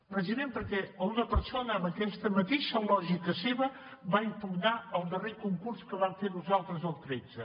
precisament perquè una persona amb aquesta mateixa lògica seva va impugnar el darrer concurs que vam fer nosaltres el tretze